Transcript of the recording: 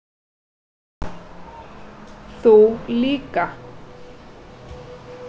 Þú líka.